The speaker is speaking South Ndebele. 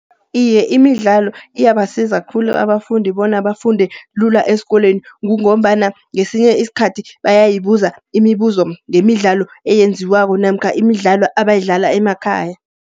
Iye imidlalo iyabasiza khulu abafundi bona bafunde lula eskolweni. Kungombana ngesinye iskhathi bayayibuza imibuzo, ngemidlalo eyenziwako namkha imidlalo abayidlala emakhaya.